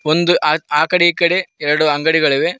ಒಂದು ಆ ಆ ಕಡೆ ಈ ಕಡೆ ಎರಡು ಅಂಗಡಿಗಳಿವೆ.